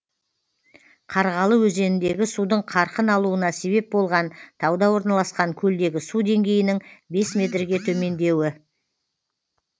қарғалы өзеніндегі судың қарқын алуына себеп болған тауда орналасқан көлдегі су деңгейінің бес метрге төмендеуі